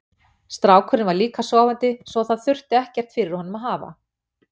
Strákurinn var líka sofandi svo það þurfti ekkert fyrir honum að hafa.